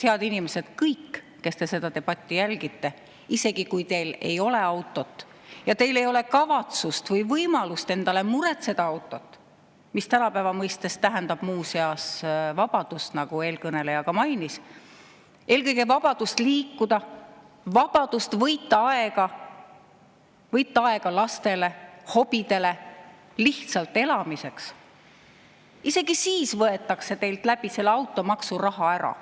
Head inimesed, kõik, kes te seda debatti jälgite, isegi kui teil ei ole autot ja teil ei ole kavatsust või võimalust endale muretseda autot, mis tänapäeva mõistes tähendab muuseas vabadust – nagu eelkõneleja mainis, eelkõige vabadust liikuda, võita aega, võita aega lastele, hobidele, lihtsalt elamiseks –, isegi siis võetakse teilt selle automaksuga raha ära.